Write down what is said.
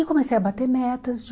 E comecei a bater metas.